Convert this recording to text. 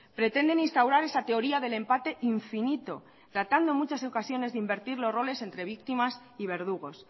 pretenden instaurar esa teoría del empate infinito tratando en muchas ocasiones de invertir los roles entre víctimas y verdugos